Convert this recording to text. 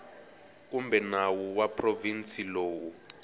kumbe nawu wa provinsi lowu